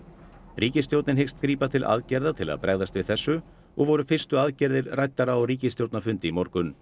ríkisstjórnin hyggst grípa til aðgerða til að bregðast við þessu og voru fyrstu aðgerðir ræddar á ríkisstjórnarfundi í morgun